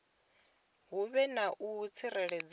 hu vhe na u tsireledzea